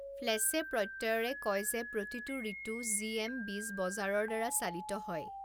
ফ্লেচে প্ৰত্যয়েৰে কয় যে প্ৰতিটো ঋতু জি এম বীজ বজাৰৰ দ্বাৰা চালিত হয়।